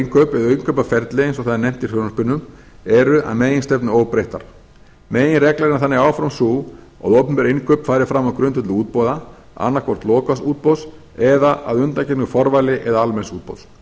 eða innkaupaferli eins og það er nefnt í frumvarpinu eru að meginstefnu óbreyttar meginreglan er þannig áfram sú að opinber innkaup fari fram á grundvelli útboða annað hvort lokaðs útboðs eða að undangengnu forvali eða almenns útboðs